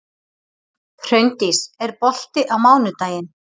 Hraundís, er bolti á mánudaginn?